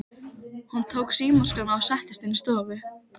Hún tók símaskrána og settist inn í stofu.